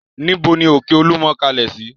Níbo ni òkè Olúmọ kalẹ̀ sí?